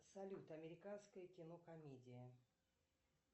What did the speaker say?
салют американское кино комедия